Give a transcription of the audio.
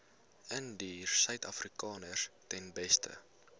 indiërsuidafrikaners ten beste